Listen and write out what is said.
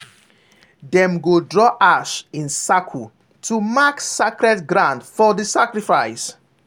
dem go draw ash in circle to mark sacred ground for the sacrifice.